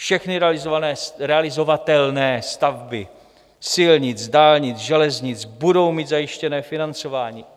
Všechny realizovatelné stavby silnic, dálnic, železnic budou mít zajištěné financování.